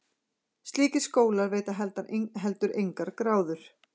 Slíkir skólar veita heldur engar gráður.